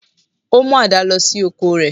Ó mú àdá lọ sí oko rẹ̀